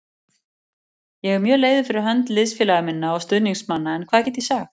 Ég er mjög leiður fyrir hönd liðsfélaga minna og stuðningsmanna en hvað get ég sagt?